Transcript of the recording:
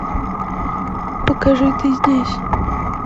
покажи ты здесь